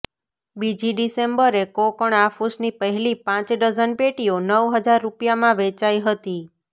બીજી ડિસેમ્બરે કોંકણ આફૂસની પહેલી પાંચ ડઝન પેટીઓ નવ હજાર રૂપિયામાં વેચાઈ હતી